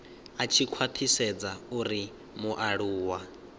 a tshi khwathisedza uri mualuwa